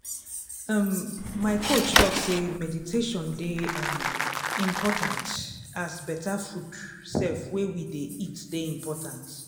um my coach talk say meditation dey um important as better food sef wey we dey eat dey important.